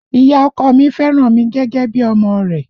Ìyá ọkọ mi fẹ́ràn mi gẹ́gẹ́ bí i ọmọ rẹ̀